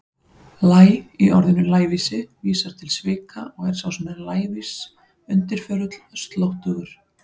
Læ- í orðinu lævísi vísar til svika og er sá sem er lævís undirförull, slóttugur.